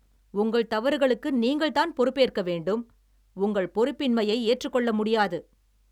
உங்கள் தவறுகளுக்கு நீங்கள் தான் பொறுப்பேற்க வேண்டும். உங்கள் பொறுப்பின்மையை ஏற்றுக்கொள்ள முடியாது